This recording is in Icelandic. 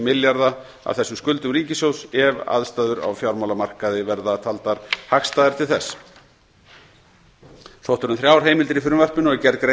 milljarða af þessum skuldum ríkissjóðs ef aðstæður á fjármálamarkaði verða taldar hagstæðar til þess sótt er um þrjár heimildir í frumvarpinu og er gerð grein